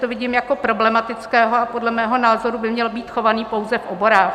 To vidím jako problematické a podle mého názoru by měl být chovaný pouze v oborách.